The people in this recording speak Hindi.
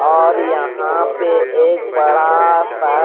और यहाँ पे एक बड़ा सा--